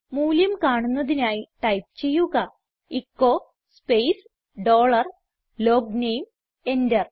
മൂല്യം കാണുന്നതിനായി ടൈപ്പ് ചെയ്യുക echo space dollar logname enter